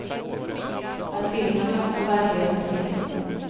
Men filmen är också verklighetens medium.